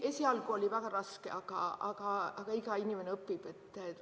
Esialgu oli väga raske, aga iga inimene õpib.